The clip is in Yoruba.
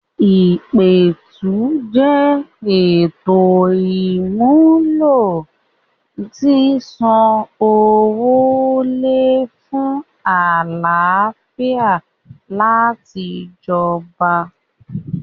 ìpètùtù jẹ́ ètò ìmúlò sísọ ọwọ́ lẹ̀ fún àlàáfíà láti jọba.